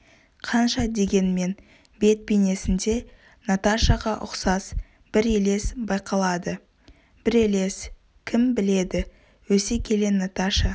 қанша дегенмен бет бейнесінде наташаға ұқсас бір елес байқалады бір елес кім біледі өсе келе наташа